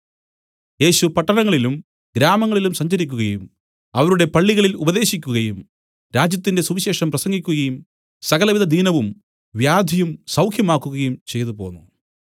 യേശു പട്ടണങ്ങളിലും ഗ്രാമങ്ങളിലും സഞ്ചരിക്കുകയും അവരുടെ പള്ളികളിൽ ഉപദേശിക്കുകയും രാജ്യത്തിന്റെ സുവിശേഷം പ്രസംഗിക്കുകയും സകലവിധദീനവും വ്യാധിയും സൌഖ്യമാക്കുകയും ചെയ്തുപോന്നു